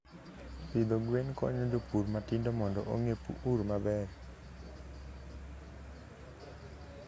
Pidho gwen konyo jopur matindo mondo ong'e pur maber.